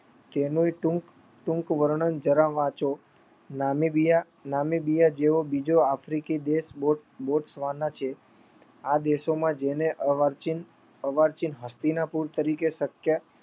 તેનું ટૂંક વર્ણન જરા વાંચો નામિબિયા જેવો બીજો આફ્રિકી દેશ બોત્સ્વાના છે. આ દેશોમાં જેને અવાર્ચીન હસ્તનીપુર તરીકે શક્યા.